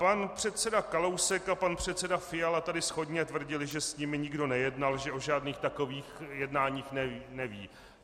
Pan předseda Kalousek a pan předseda Fiala tady shodně tvrdili, že s nimi nikdo nejednal, že o žádných takových jednáních nevědí.